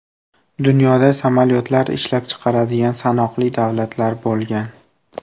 Dunyoda samolyotlar ishlab chiqaradigan sanoqli davlatlar bo‘lgan.